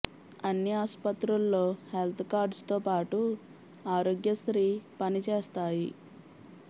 అన్ని ఆసుపత్రుల్లో health cards తోపాటు ఆరోగ్య శ్రీ పని చేస్తాయి